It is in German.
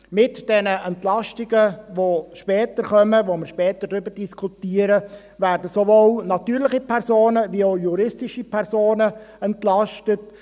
Mit diesen Entlastungen, über die wir später diskutieren, werden sowohl natürliche als auch juristische Personen entlastet.